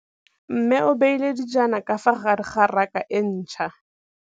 Mmê o beile dijana ka fa gare ga raka e ntšha.